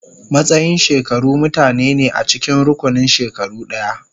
Matsayin shekaru mutane ne a cikin rukunin shekaru ɗaya.